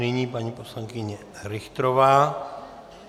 Nyní paní poslankyně Richterová.